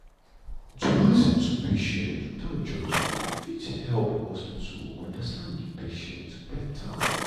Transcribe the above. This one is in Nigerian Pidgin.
to lis ten to patient without judging fit help hospital understand de patient beta.